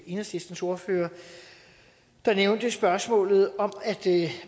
enhedslistens ordfører der nævnte spørgsmålet om at